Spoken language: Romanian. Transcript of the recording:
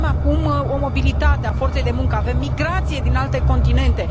Avem acum o mobilitate a forței de muncă, avem migrație din alte continente.